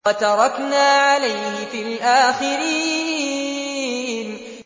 وَتَرَكْنَا عَلَيْهِ فِي الْآخِرِينَ